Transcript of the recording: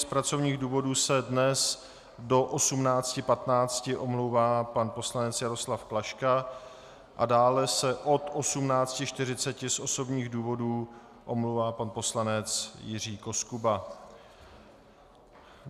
Z pracovních důvodů se dnes do 18.15 omlouvá pan poslanec Jaroslav Klaška a dále se od 18.40 z osobních důvodů omlouvá pan poslanec Jiří Koskuba.